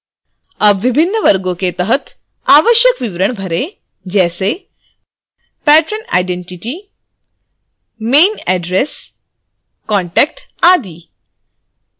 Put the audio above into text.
अब विभिन्न वर्गों के तहत आवश्यक विवरण भरें जैसे: